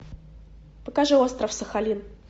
покажи остров сахалин